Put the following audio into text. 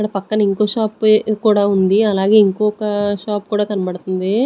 ఇక్కడ పక్కన ఇంకో షాప్ కూడా ఉంది అలాగే ఇంకొక షాప్ కూడా కనబడుతుంది.